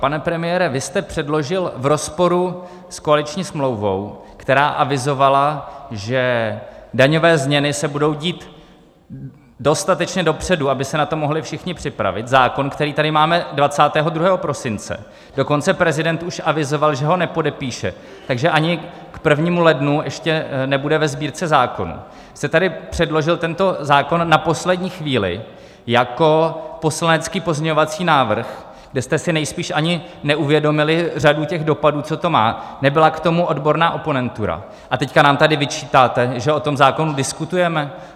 Pane premiére, vy jste předložil v rozporu s koaliční smlouvou, která avizovala, že daňové změny se budou dít dostatečně dopředu, aby se na to mohli všichni připravit, zákon, který tady máme 22. prosince, dokonce prezident už avizoval, že ho nepodepíše, takže ani k 1. lednu ještě nebude ve Sbírce zákonů, jste tady předložil tento zákon na poslední chvíli jako poslanecký pozměňovací návrh, kde jste si nejspíš ani neuvědomili řadu těch dopadů, co to má, nebyla k tomu odborná oponentura, a teď nám tady vyčítáte, že o tom zákonu diskutujeme?